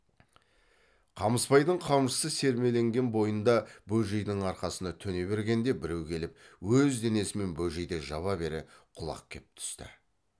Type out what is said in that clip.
қамысбайдың қамшысы сермеленген бойында бөжейдің арқасына төне бергенде біреу келіп өз денесімен бөжейді жаба бере құлап кеп түсті